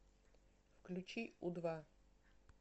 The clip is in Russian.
включи у два